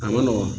A ma nɔgɔn